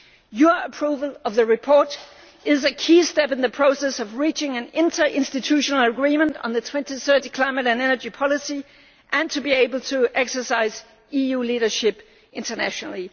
Your approval of the report is a key step in the process of reaching an inter institutional agreement on the 2030 climate and energy policy and being able to exercise EU leadership internationally.